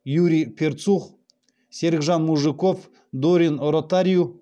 юрий перцух серікжан мужиков дорин ротариу